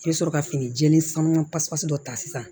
I bɛ sɔrɔ ka fini jɛlen sanga pasipasi dɔ ta sisan